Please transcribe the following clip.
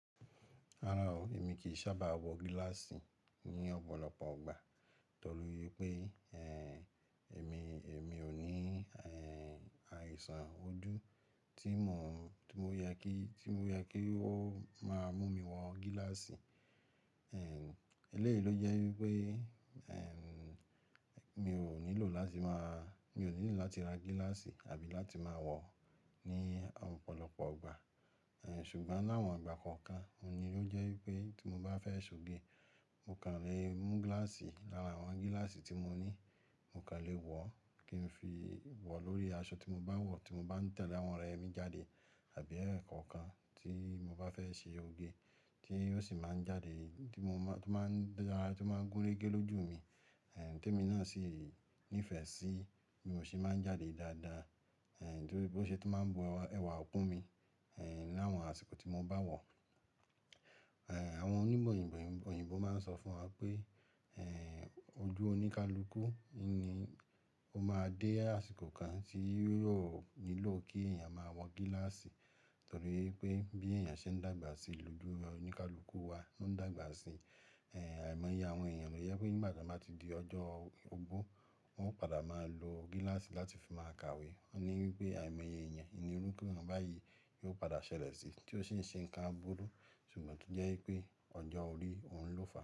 Rárá o, èmi kì í sábà wọ gíláàsì ní ọ̀pọ̀lọpọ̀ ọgbà torí pé, ẹ́, èmi, èmi ò ní, ẹ́, àìsàn ojú tí mo, tí ó yẹ kí, tí ó yẹ kí ó máa mú mi wọ gíláàsì. Ẹ̀, eléyìí ló jẹ́ wípé, ẹ́, mi ò nílò láti máa-- mi ò nílò láti ra gíláàsì àbí láti máa wọ̀ ọ́ ní ọ̀pọ̀lọpọ̀ ọgbà. Ẹ̀, ṣùgbọ́n ni àwọn ìgbà kọ̀ọ̀kan, òun ni ló jẹ́ wípé tí mo bá fẹ́ ṣe òge, mo kàn lè mú gíláàsì lára àwọn gíláàsì tí mo ní, mo kàn lè wọ̀ ọ́ kí n fi wọ̀ ọ́ lórí aṣọ tí mo bá ń wọ̀ tí mo bá ń tẹ̀lé àwọn ọ̀rẹ́ mi jáde àbí ẹ̀ẹ̀kọ̀kan tí mo bá fẹ́ ṣe òge tí yóò sì máa ń jáde, tí mo máa, tí ó máa ń dára, tí ó máa ń gúnrégé lójú mi. Ẹ̀, tó mi náà sì nífẹ̀ẹ́ sí, mi ò ṣe é máa ń jáde dáadáa, ẹ̀, torí bó ṣe tó máa ń bọ ẹwà kun mi, ẹ́, láwọn àsìkò tí mo bá wọ̀. Ẹ̀, àwọn onímọ̀ òyìnbó, òyìnbó máa ń sọ fún wa pé, ẹ́, ojú oníkalukú ni ó máa dé àsìkò kan tí yóò nílò kí èèyàn máa wọ gíláàsì torí pé bí èèyàn ṣe ń dàgbà sí, lójú oníkalukú wa ló ń dàgbà sí. Ẹ̀, à'ìmọye àwọn èèyàn ló jẹ́ pé nígbà tí a bá ti di ọjọ́ ogbó, wọn ó padà máa lo gíláàsì láti fi máa kawe. Wọ́n ní wípé àìmọye èèyàn ni orúkọ náà báyìí, yóò padà ṣẹlẹ̀ síi tí ó sì ń ṣe nǹkan burú. Ṣùgbọ́n to jẹ́ wípé ọjọ́ orí òun ló fà.